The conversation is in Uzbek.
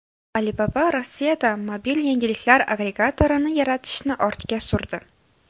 Alibaba Rossiyada mobil yangiliklar agregatorini yaratishni ortga surdi.